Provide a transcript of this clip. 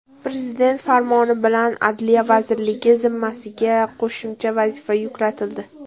Prezident farmoni bilan Adliya vazirligi zimmasiga qo‘shimcha vazifalar yuklatildi.